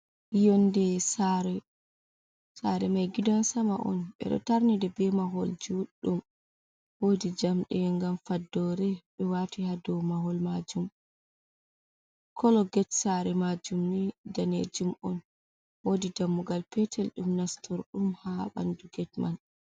Yonde sare mai gidan sama on, bedo tarnide be mahol juddum wodi jamdi gam faddore be wati hado mahol majum. kolo get sare majum ndanejum on, wodi dammugal petel dum nastordum ha bandu get man.